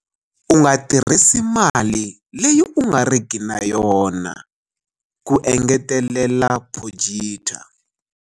U nga tirhisi mali leyi u nga riki na yona, ku engetelela Potgieter.